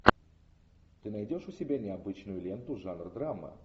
ты найдешь у себя необычную ленту жанр драма